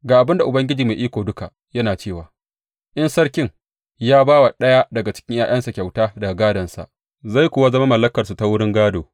Ga abin da Ubangiji Mai Iko Duka yana cewa in sarkin ya ba wa ɗaya daga cikin ’ya’yansa kyauta daga gādonsa, zai kuwa zama na zuriyar; zai kuwa zama mallakarsu ta wurin gādo.